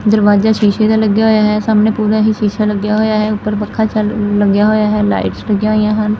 ਦਰਵਾਜ਼ਾ ਸ਼ੀਸ਼ੇ ਦਾ ਲੱਗਿਆ ਹੋਇਆ ਹੈ ਸਾਹਮਣੇ ਪੂਰਾ ਹੀ ਸ਼ੀਸ਼ਾ ਲੱਗਿਆ ਹੋਇਆ ਹੈ ਉੱਪਰ ਪੱਖਾ ਲੱਗਿਆ ਹੋਇਆ ਹੈ ਲਾਈਟਸ ਲੱਗਿਆ ਹੋਇਆ ਹਨ।